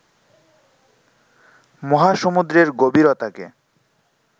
মহাসমুদ্রের গভীরতাকে